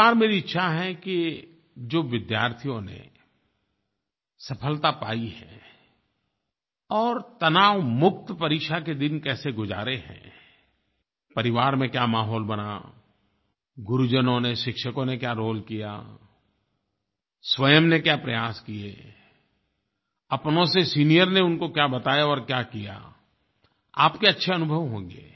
इस बार मेरी इच्छा है कि जो विद्यार्थियों ने सफलता पाई है और तनावमुक्त परीक्षा के दिन कैसे गुज़ारे हैं परिवार में क्या माहौल बना गुरुजनों ने शिक्षकों ने क्या रोले किया स्वयं ने क्या प्रयास किये अपनों से सीनियर ने उनको क्या बताया और क्या किया आपके अच्छे अनुभव होंगे